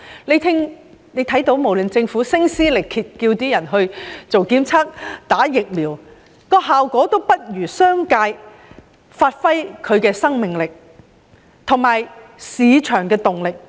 大家看到無論政府如何聲撕力竭地叫市民進行檢測和接種疫苗，效果都不及商界發揮的生命力和市場的動力。